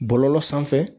Bɔlɔlɔ sanfɛ